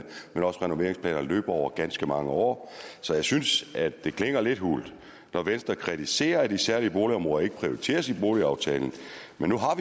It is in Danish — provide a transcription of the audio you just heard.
renoveringsplanerne løber over ganske mange år så jeg synes at det klinger lidt hult når venstre kritiserer at de særligt udsatte boligområder ikke prioriteres i boligaftalen men nu